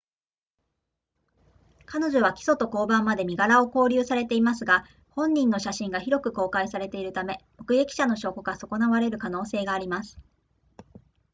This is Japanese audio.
彼女は起訴と公判まで身柄を勾留されていますが本人の写真が広く公開されているため目撃者の証拠が損なわれる可能性があります